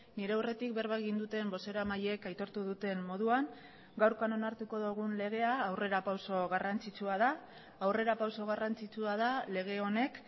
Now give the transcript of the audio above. nire aurretik berba egin duten bozeramaileek aitortu duten moduan gaurkoan onartuko dugun legea aurrerapauso garrantzitsua da aurrerapauso garrantzitsua da lege honek